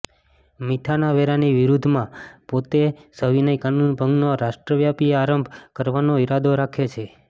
મીઠાના વેરાની વિરુદ્ધમાં પોતે સવિનય કાનૂનભંગનો રાષ્ટ્રવ્યાપી આરંભ કરવાનો ઈરાદો રાખે છે